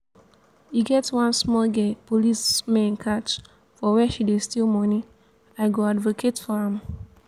e get one small girl police men catch for where she dey steal money i go advocate for am